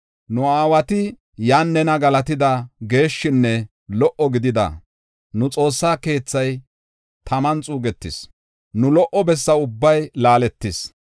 Nu aawati iyan nena galatida geeshshinne lo77o gidida nu xoossa keethay taman xuugetis; nu lo77o bessa ubbay laaletis.